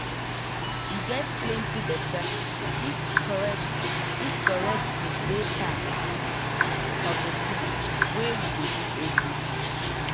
e get plenty beta if correct if correct food dey part of the tinz wey you dey do everyday.